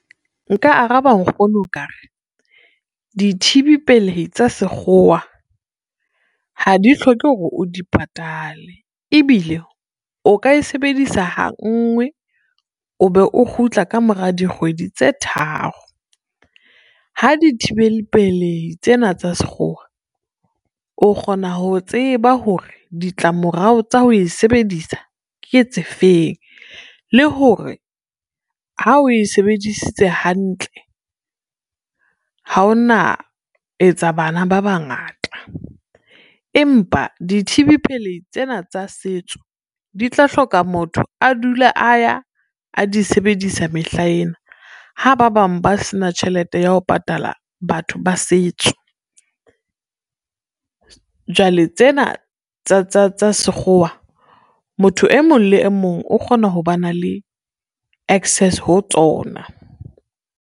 Nka araba nkgono ka re dithibi pelehi tsa Sekgowa, ha di hloke hore o di patale ebile o ka e sebedisa ha nngwe o be o kgutla ka mora dikgwedi tse tharo. Ha dithibeli pelehi tsena tsa Sekgowa o kgona ho tseba hore ditlamorao tsa ho e sebedisa ke tse feng le hore ha oe sebedisitse hantle ha ona etsa bana ba bangata. Empa dithibi pelehi tsena tsa setso di tla hloka motho a dula a ya a di sebedisa mehlaena ha ba bang ba se na tjhelete ya ho patala batho ba setso, jwale tsena tsa Sekgowa motho e mong le e mong o kgona ho ba na le access ho tsona.